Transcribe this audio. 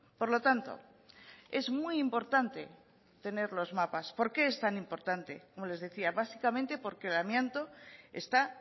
por lo tanto es muy importante tener los mapas por qué es tan importante como les decía básicamente porque el amianto está